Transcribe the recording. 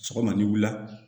Sɔgɔma n'i wulila